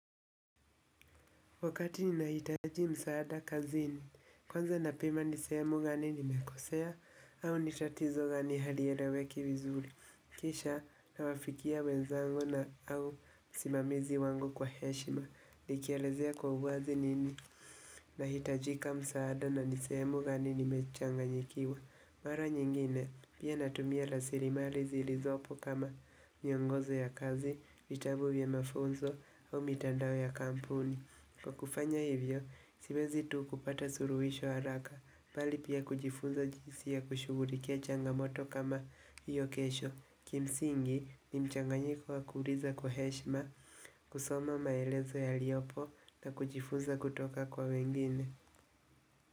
Wakati ninahitaji msaada kazini, kwanza na pima nisemu gani nimekosea au nitatizo gani halieleweki vizuri. Kisha na wafikia wezangu na au wasimamizi wangu kwa heshima. Nikielezea kwa uwazi nini. Nahitajika msaada na nisemu gani nimechanganyikiwa. Mara nyingine, pia natumia la rasirimali zilizopo kama nyongozo ya kazi, vitabu vya mafunzo au mitandao ya kampuni. Kwa kufanya hivyo, siwezi tu kupata suluhisho haraka, bali pia kujifunza jisi ya kushugulikia changamoto kama hiyo kesho. Kimsingi, ni mchanganyiko wakuliza kwa heshma, kusoma maelezo yaliopo na kujifunza kutoka kwa wengine.